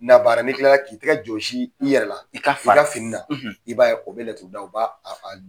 La baara, n'i kila la k'i tɛgɛ jɔnsi i yɛrɛ la , i ka fara fini na, i b'a ye o bi ka laturuda o b'a